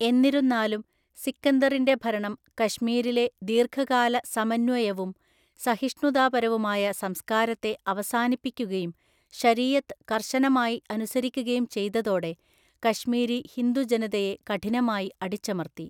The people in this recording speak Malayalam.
എന്നിരുന്നാലും, സിക്കന്ദറിന്റെ ഭരണം കശ്മീരിലെ ദീർഘകാല സമന്വയവും സഹിഷ്ണുതാപരവുമായ സംസ്കാരത്തെ അവസാനിപ്പിക്കുകയും ശരീഅത്ത് കർശനമായി അനുസരിക്കുകയും ചെയ്തതോടെ കശ്മീരി ഹിന്ദു ജനതയെ കഠിനമായി അടിച്ചമർത്തി.